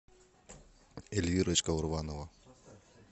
эльвирочка урванова